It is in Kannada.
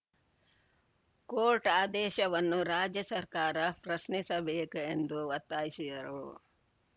ಕೋರ್ಟ್‌ ಆದೇಶವನ್ನು ರಾಜ್ಯ ಸರ್ಕಾರ ಪ್ರಶ್ನಿಸಬೇಕು ಎಂದು ಒತ್ತಾಯಿಸಿದರು